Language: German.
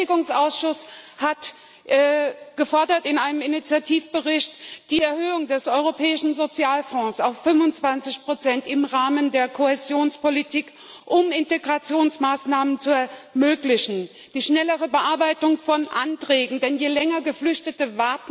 Der Beschäftigungsausschuss hat in einem Initiativbericht gefordert die Erhöhung des Europäischen Sozialfonds auf 25 im Rahmen der Kohäsionspolitik, um Integrationsmaßnahmen zu ermöglichen, die schnellere Bearbeitung von Anträgen, denn je länger Geflüchtete